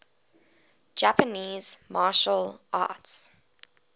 japanese martial arts